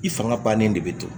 I fanga bannen de be to